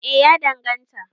eh ya danganta